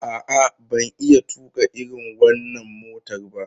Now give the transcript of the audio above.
A'a, ban iya tuƙa irin wannan motar ba.